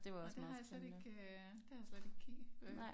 Åh det har jeg slet ikke øh det har jeg slet ikke kigge øh